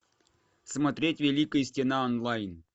смотреть великая стена онлайн